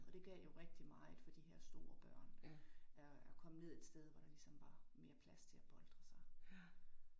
Og det gav jo rigtig meget for de her store børn at at komme ned et sted, hvor der ligesom var mere plads til at boltre sig